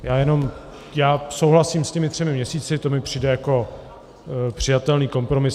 Já jenom souhlasím s těmi třemi měsíci, to mi přijde jako přijatelný kompromis.